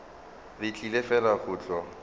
re tlile fela go tlo